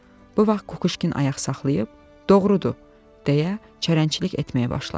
Bu vaxt Kukuşkin ayaq saxlayıb, “Doğrudur”, — deyə çərəncilik etməyə başladı.